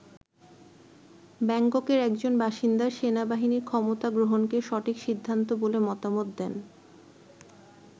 ব্যাংককের একজন বাসিন্দা সেনাবাহিনীর ক্ষমতা গ্রহণকে সঠিক সিদ্ধান্ত বলে মতামত দেন।